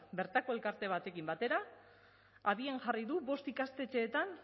bertako elkarte batekin batera abian jarri du bost ikastetxeetan